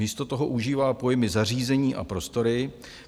Místo toho užívá pojmy zařízení a prostory.